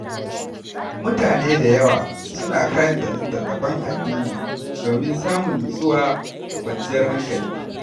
Mutane da yawa suna karanta littattafan addini domin samun nutsuwa da kwanciyar hankali.